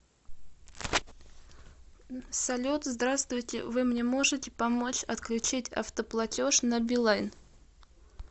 салют здравствуйте вы мне можете помочь отключить автоплатеж на билайн